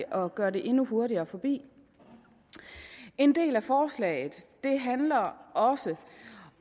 og gøre det endnu hurtigere forbi en del af forslaget handler